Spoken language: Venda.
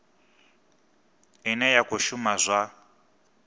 ine ya khou shuma zwa